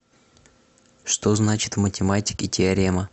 что значит в математике теорема